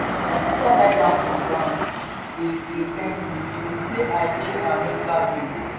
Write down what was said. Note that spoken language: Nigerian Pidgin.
my sister lie down for ground dey dey thank me unto say i pay her medical bills